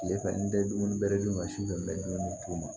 Tilefɛ n tɛ dumuni bɛrɛ dun ka su bɛ dumuni d'u ma